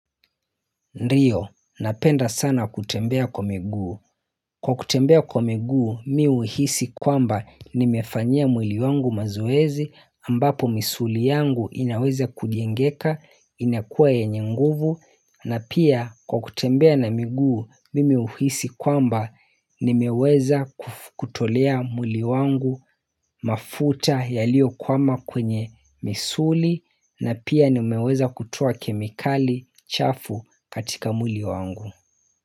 Ndiyo, napenda sana kutembea kwa miguu. Kwa kutembea kwa miguu, mimi huhisi kwamba nimefanya mwili wangu mazoezi ambapo misuli yangu inaweza kujengeka, inakuwa yenye nguvu, na pia kwa kutembea na miguu, mimi huhisi kwamba nimeweza kutolea muli wangu mafuta yaliyokwama kwenye misuli, na pia nimeweza kutoa kemikali chafu katika mwili wangu.